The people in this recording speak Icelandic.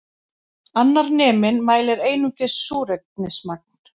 Annar neminn mælir einungis súrefnismagn